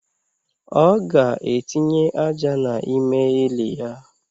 O ga etinye aja na ime ili ya